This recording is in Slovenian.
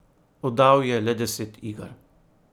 Oddal je le deset iger.